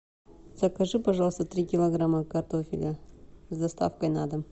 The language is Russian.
закажи пожалуйста три килограмма картофеля с доставкой на дом